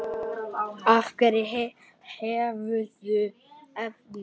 Á hverju hefurðu efni?